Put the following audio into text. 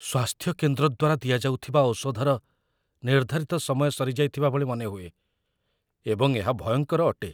ସ୍ୱାସ୍ଥ୍ୟ କେନ୍ଦ୍ର ଦ୍ୱାରା ଦିଆଯାଉଥିବା ଔଷଧର ନିର୍ଦ୍ଧାରିତ ସମୟ ସରିଯାଇଥିବା ଭଳି ମନେହୁଏ, ଏବଂ ଏହା ଭୟଙ୍କର ଅଟେ।